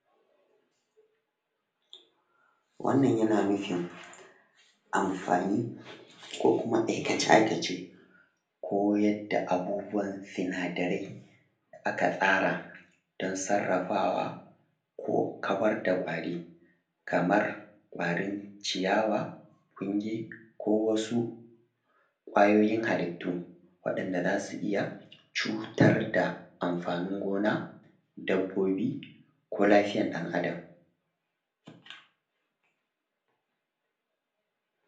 Wannan yana nufin amfani ko kuma aikace-aikace ko yadda abubuwan sunadarai aka ce ko aka tsara don sarrafawa ko kawar da kwari kamar kwarin ciyawa ƙungi ko wasu ƙwayoyin halittu waɗanda za su iya cutad da amfanin gona dabbobi ko lafiyar dan Adam